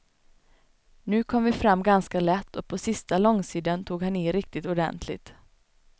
Nu kom vi fram ganska lätt och på sista långsidan tog han i riktigt ordentligt.